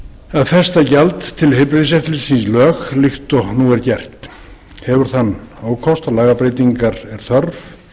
það að festa gjald til heilbrigðiseftirlitsins í lög líkt og nú er gert hefur þann ókost að lagabreytingar er þörf